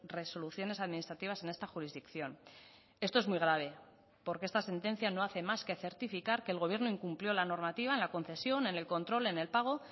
resoluciones administrativas en esta jurisdicción esto es muy grave porque esta sentencia no hace más que certificar que el gobierno incumplió la normativa en la concesión en el control en el pago